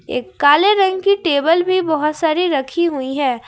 एक काले रंग की टेबल भी बहुत सारी रखी हुई है।